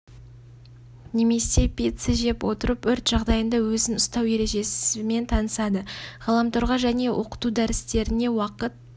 немесе пицца жеп отырып өрт жағдайында өзін ұстау ережесімен танысады ғаламторға және оқыту дәрістеріне уақыт